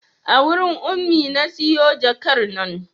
A wurin Ummi na siyo jakar nan